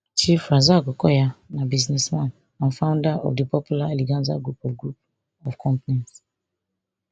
chief razaq okoya na businessman and founder of di popular eleganza group of group of companies